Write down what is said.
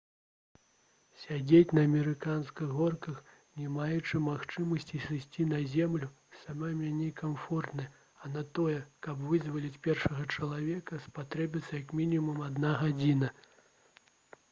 «сядзець на амерыканскіх горках не маючы магчымасці сысці на зямлю сама меней некамфортна а на тое каб вызваліць першага чалавека спатрэбілася як мінімум адна гадзіна»